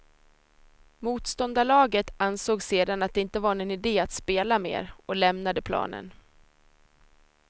Motståndarlaget ansåg sedan att det inte var någon idé att spela mer och lämnade planen.